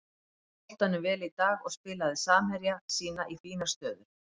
Hélt boltanum vel í dag og spilaði samherja sína í fínar stöður.